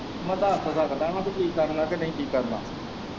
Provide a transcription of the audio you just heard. ਮੈਂ ਦੱਸ ਤਾਂ ਸਕਦਾ ਨਾ ਠੀਕ ਕਰਨਾ ਕੀ ਨਈ ਠੀਕ ਕਰਨਾ।